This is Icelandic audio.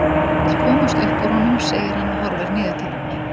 Hún vill komast upp úr honum segir hann og horfir niður til hennar.